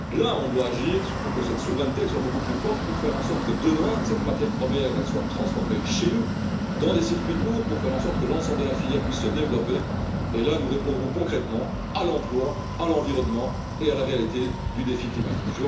Là on doit agir pour que cette souveraineté soit beaucoup plus forte pour faire en sorte que demain cette matière première soit transformée chez nous, dans des circuits courts, pour faire en sorte que l'ensemble de la filière puisse se développer et là, nous répondrons concrètement à l'emploi, à l'environnement et à la réalité du défi climatique.